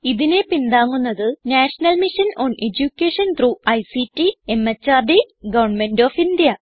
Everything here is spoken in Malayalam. ഇതിനെ പിന്താങ്ങുന്നത് national mission on education through ICT MHRD government of India